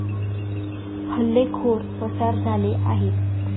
हल्लेखोर पसार झाले आहेत.